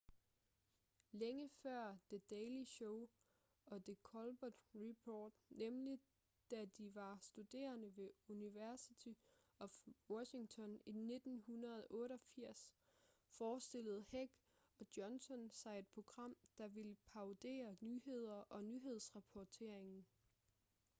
længe før the daily show og the colbert report nemlig da de var studerende ved university of washington i 1988 forestillede heck og johnson sig et program der ville parodiere nyhederne og nyhedsrapporteringen